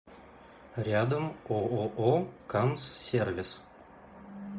рядом ооо камсс сервис